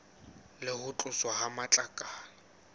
le ho tloswa ha matlakala